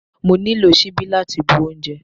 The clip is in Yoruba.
Mo nílò ṣíbí láti bu oúnjẹ.